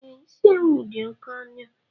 E, isi ewu dị oké ọnụ